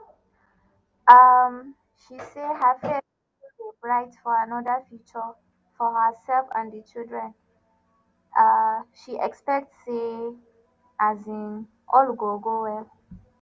um she say her faith still dey bright for anoda future for herself and di children a she expect say um all go go well.